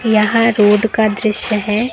यह रोड का दृश्य है।